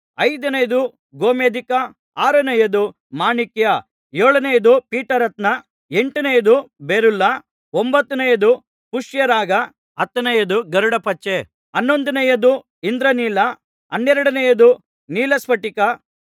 ಐದನೆಯದು ಗೋಮೇಧಿಕ ಆರನೆಯದು ಮಾಣಿಕ್ಯ ಏಳನೆಯದು ಪೀತರತ್ನ ಎಂಟನೆಯದು ಬೆರುಲ್ಲ ಒಂಭತ್ತನೆಯದು ಪುಷ್ಯರಾಗ ಹತ್ತನೆಯದು ಗರುಡಪಚ್ಚೆ ಹನ್ನೊಂದನೆಯದು ಇಂದ್ರನೀಲ ಹನ್ನೆರಡನೆಯದು ನೀಲಸ್ಫಟಿಕ